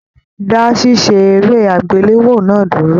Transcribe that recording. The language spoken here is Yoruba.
Dá ṣiṣe eré agbelewo náà dúró!